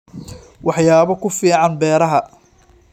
Waxyaabo ku fiican beeraha.